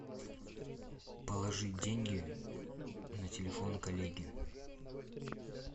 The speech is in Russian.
положить деньги на телефон коллеги